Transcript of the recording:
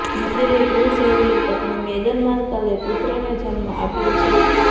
નવી દિલ્હીઃ પ્રિન્સ હેરીની પત્ની મેગન માર્કલે પુત્રને જન્મ આપ્યો છે